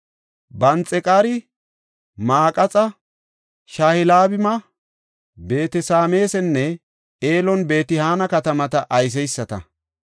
Banxeqaari Maqaxa, Sha7albima, Beet-Sameesanne Elon-Beet-Hana katamata ayseysata.